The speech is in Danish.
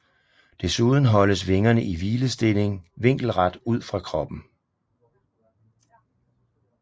Desuden holdes vingerne i hvilestilling vinkelret ud fra kroppen